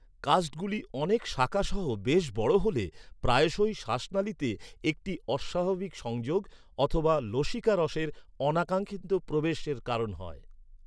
কাস্টগুলি অনেক শাখাসহ বেশ বড় হলে, প্রায়শই শ্বাসনালীতে একটি অস্বাভাবিক সংযোগ অথবা লসিকারসের অনাকাঙ্খিত প্রবেশ এর কারণ হয়।